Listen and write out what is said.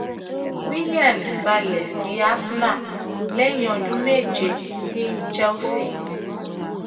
willian balẹ sí arsenal lẹyìn ọdún méje ní chelsea